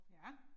Ja